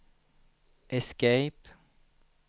escape